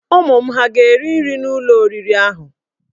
Ụmụ m hà ga-eri nri n'ụlọ oriri ahụ?